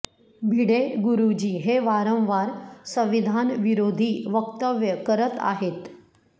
भिडे गुरुजी हे वारंवार संविधानविरोधी वक्तव्ये करत आहेत